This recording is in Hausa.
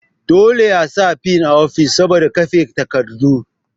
Dole a sami fil a office saboda kafe takardu